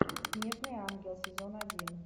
снежный ангел сезон один